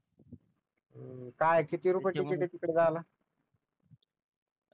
काय किती रुपये तिकीट आहे तिकडे जायला